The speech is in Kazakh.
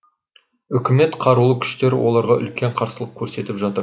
үкімет қарулы күштері оларға үлкен қарсылық көрсетіп жатыр